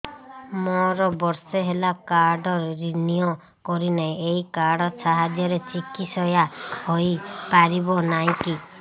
ମୋର ବର୍ଷେ ହେଲା କାର୍ଡ ରିନିଓ କରିନାହିଁ ଏହି କାର୍ଡ ସାହାଯ୍ୟରେ ଚିକିସୟା ହୈ ପାରିବନାହିଁ କି